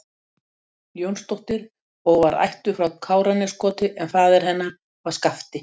Jónsdóttir og var ættuð frá Káraneskoti en faðir hennar var Skafti